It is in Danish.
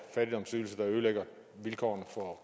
fattigdomsydelser der ødelægger vilkårene for